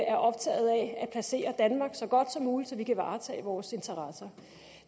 er optaget af at placere danmark så godt som muligt så vi kan varetage vores interesser